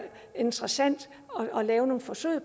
interessant at lave nogle forsøg